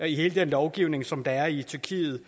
hele den lovgivning som der er i tyrkiet